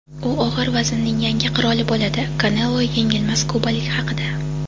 U og‘ir vaznning yangi qiroli bo‘ladi – "Kanelo" yengilmas kubalik haqida.